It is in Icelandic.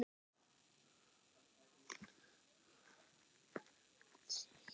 Talandi um kast.